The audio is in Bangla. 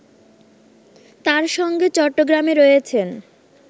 তার সঙ্গে চট্টগ্রামে রয়েছেন